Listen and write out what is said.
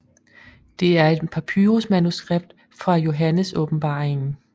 Det er et papyrus manuskript fra Johannes Åbenbaringen